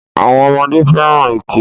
àwọn ọmọdé fẹ́ràn ẹkẹ.